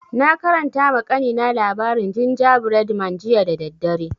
Na karanta ma kanina labarin gingerbread man jiya da daddare